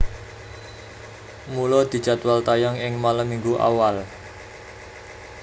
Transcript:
Mula dijadwal tayang ing malem Minggu awal